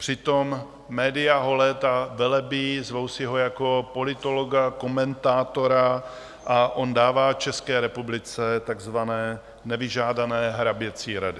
Přitom média ho léta velebí, zvou si ho jako politologa, komentátora a on dává České republice takzvané nevyžádané hraběcí rady.